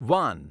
van